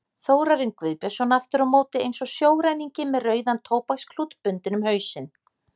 Þórarinn Guðbjörnsson aftur á móti eins og sjóræningi með rauðan tóbaksklút bundinn um hausinn.